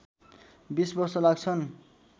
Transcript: २० वर्ष लाग्छन्।